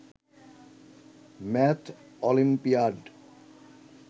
math olympiad